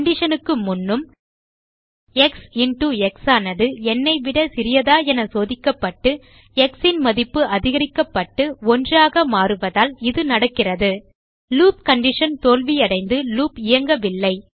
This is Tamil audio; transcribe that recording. condition க்கு முன்னும் எக்ஸ் இன்டோ எக்ஸ் ஆனது ந் விட சிறியதா என சோதிக்கப்பட்டு எக்ஸ் ன் மதிப்பு அதிகரிக்கப்பட்டு 1 ஆக மாறுவதால் இது நடக்கிறது லூப் கண்டிஷன் தோல்வியடைந்து லூப் இயங்கவில்லை